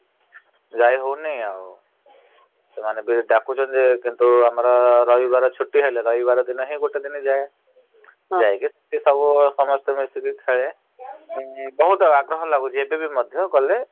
ଯାଇ ହଉନି ଆଉ । ସେମାନେ ଯଉ ଡାକୁଛନ୍ତି କିନ୍ତୁ ଆମର ରହିବାର ଛୁଟି ହେଲେ ରଇବାର ଦିନ ହିଁ ଗୋଟେ ଦିନ । ଯାଇକି ସେଠି ସମସ୍ତେ ସବୁ ମିସିକି ଖେଳେ । ବହୁତ୍ ଆଗ୍ରହ ଲାଗୁଚି ଏବେବି ମଧ୍ଯ ଗଲେ ।